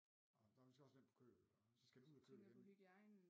Og vi skal også have den på køl og så skal den ud af køl igen